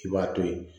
I b'a to ye